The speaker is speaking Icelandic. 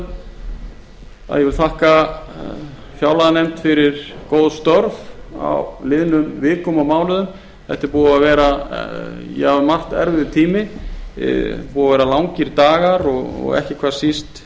ég vil þakka fjárlaganefnd fyrir góð störf á liðnum vikum og mánuðum þetta er búinn að vera um margt erfiður tími búnir að vera langir dagar og ekki hvað síst